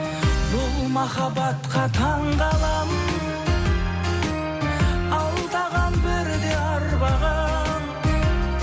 бұл махаббатқа таңғаламын алдаған бірде арбаған